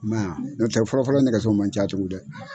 I m'a ya, ɲɔtɛ fɔlɔfɔlɔ nɛgɛso man ca tugu dɛ.